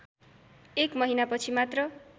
एक महिनापछि मात्र